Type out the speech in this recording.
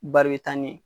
Bari taa ni ye